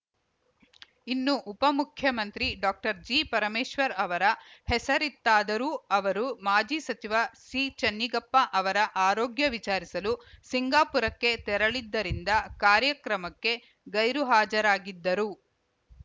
ಇನ್ನು ಉಪಮುಖ್ಯಮಂತ್ರಿ ಡಾಕ್ಟರ್ಜಿಪರಮೇಶ್ವರ್‌ ಅವರ ಹೆಸರಿತ್ತಾದರೂ ಅವರು ಮಾಜಿ ಸಚಿವ ಸಿಚೆನ್ನಿಗಪ್ಪ ಅವರ ಆರೋಗ್ಯ ವಿಚಾರಿಸಲು ಸಿಂಗಾಪುರಕ್ಕೆ ತೆರಳಿದ್ದರಿಂದ ಕಾರ್ಯಕ್ರಮಕ್ಕೆ ಗೈರು ಹಾಜರಾಗಿದ್ದರು